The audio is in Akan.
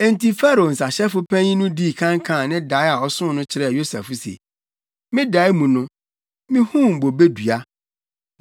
Enti Farao nsahyɛfo panyin no dii kan kaa ne dae a ɔsoo no kyerɛɛ Yosef se, “Me dae mu no, mihuu bobe dua.